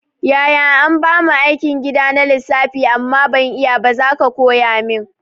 Yaya anbamu aikin gida na lissafi amma ban iyaba zaka koya min